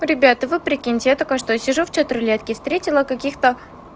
ребята вы прикиньте я только что сижу в чат-рулетке встретила каких-то